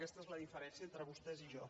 aquesta és la diferència entre vostès i jo